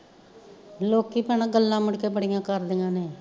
ਲੋਕੀਂ ਭੈਣਾਂ ਗੱਲਾਂ ਮੁੜਕੇ ਬੜੀਆਂ ਕਰਦੀਆਂ ਨੇ